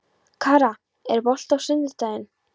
Kara, er bolti á sunnudaginn?